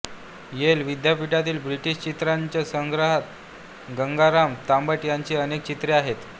L विद्यापीठातील British चित्रांच्या संग्रहात गंगाराम तांबट यांची अनेक चित्रे आहेत